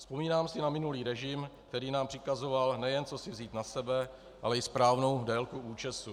Vzpomínám si na minulý režim, který nám přikazoval, nejen co si vzít na sebe, ale i správnou délku účesu.